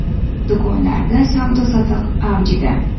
Do‘konlarda savdo-sotiq avjida.